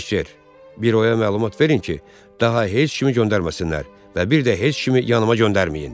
Piçer, büroya məlumat verin ki, daha heç kimi göndərməsinlər və bir də heç kimi yanıma göndərməyin.